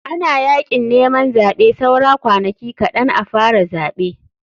Ana yakin neman zaɓe saura kwanaki kaɗn a fara zaɓe.